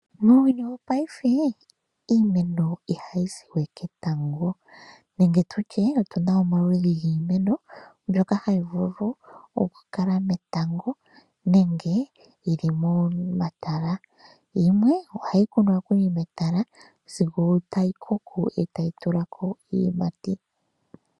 Muuyuuni wopaife iimeno ihayi siwe ketango nenge tutye otuna omaludhi giimeno mbyoka hayi vulu okukala metango nenge yili momatala, yimwe ohayi kunwa nokuli metala sigo tayi koko e tayi tulako iiyimati.